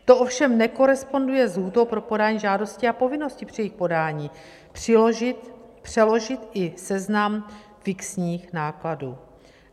To ovšem nekoresponduje s lhůtou pro podání žádosti a povinnosti při jejich podání přiložit i seznam fixních nákladů.